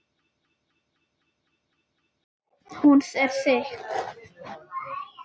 Hún er þykk.